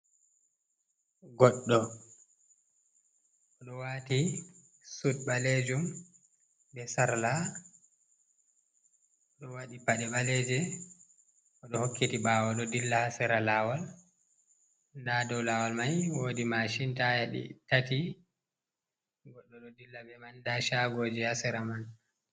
Goɗɗo o ɗo waati sut ɓaleejum bee sarla, ɗo waɗi paɗe ɓaleeje, ɗo hokkiti ɓaawo ɗo dilla ha sera laawol. Ndaa dow laawol may woodi maacin taaya ɗi tati, goɗɗo ɗo dilla bee man ndaa caagooji ha sera man.